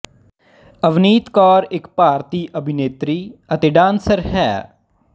ਅਵਨੀਤ ਕੌਰ ਇੱਕ ਭਾਰਤੀ ਅਭਿਨੇਤਰੀ ਅਤੇ ਡਾਂਸਰ ਹੈ